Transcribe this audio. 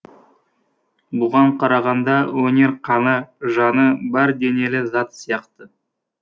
бұған қарағанда өнер қаны жаны бар денелі зат сияқты